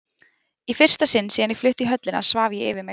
Í fyrsta sinn síðan ég flutti í höllina svaf ég yfir mig.